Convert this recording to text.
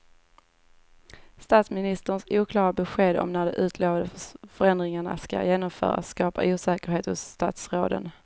Statsministerns oklara besked om när de utlovade förändringarna ska genomföras skapar osäkerhet hos statsråden.